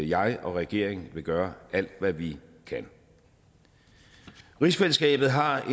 jeg og regeringen vil gøre alt hvad vi kan rigsfællesskabet har